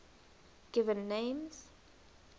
given names